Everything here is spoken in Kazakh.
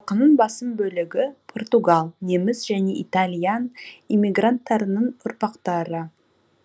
халқының басым бөлігі португал неміс және италиян иммигранттарының ұрпақтары